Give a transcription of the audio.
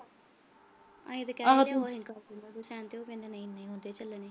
ਅਸੀਂ ਤਾਂ ਕਿਹਾ ਸੀ sign ਉਹ ਕਹਿੰਦੇ ਨਹੀਂ ਚੱਲਣੇ।